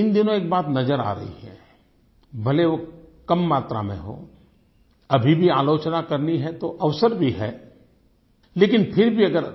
इन दिनों एक बात नज़र आ रही है भले वो कम मात्रा में हो अभी भी आलोचना करनी है तो अवसर भी है लेकिन फिर भी अगर